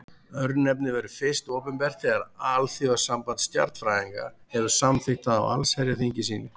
Örnefnið verður fyrst opinbert þegar Alþjóðasamband stjarnfræðinga hefur samþykkt það á allsherjarþingi sínu.